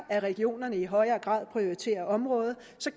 at regionerne i højere grad prioriterer området